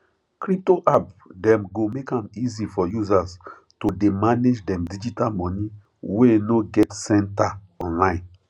crypto app dem go make am easy for users to dey manage dem digital money wey no get center online